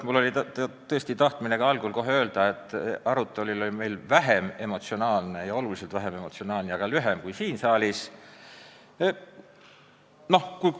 Mul oli tõesti tahtmine algul kohe öelda, et arutelu oli meil oluliselt vähem emotsionaalne ja lühem kui siin saalis.